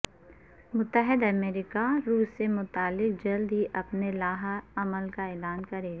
متحدہ امریکہ روس سے متعلق جلد ہی اپنے لائحہ عمل کا اعلان کرے گا